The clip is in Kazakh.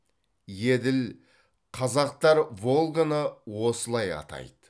еділ қазақтар волганы осылай атайды